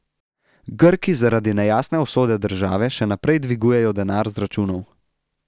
Grki zaradi nejasne usode države še naprej dvigujejo denar z računov.